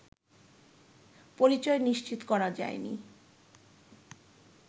পরিচয় নিশ্চিত করা যায়নি